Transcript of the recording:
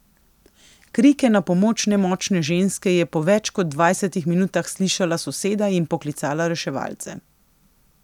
Krike na pomoč nemočne ženske je po več kot dvajsetih minutah slišala soseda in poklicala reševalce.